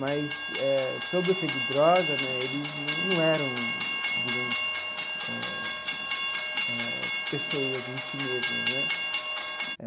Mas eh, sob o efeito de droga né, eles num num eram, digamos eh eh, pessoas em si mesmas né.